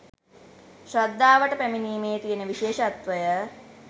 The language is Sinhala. ශ්‍රද්ධාවට පැමිණීමේ තියෙන විශේෂත්වය.